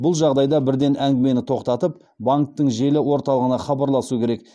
бұл жағдайда бірден әңгімені тоқтатып банктің желі орталығына хабарласу керек